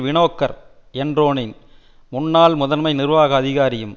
வினோக்கர் என்றோனின் முன்னாள் முதன்மை நிர்வாக அதிகாரியும்